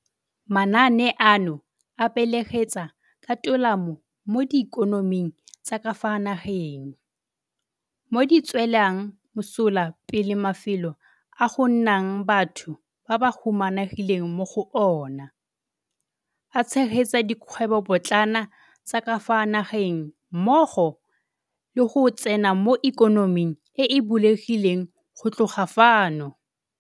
Manaane ano a beeletsa ka tolamo mo diikonoming tsa ka fa nageng, mo di tswelang mosola pele mafelo a go nnang batho ba ba humanegileng mo go ona, a tshegetsa dikgwebopotlana tsa ka fa nageng mmogo le go tsena mo ikonoming e e bulegileng go tloga fano.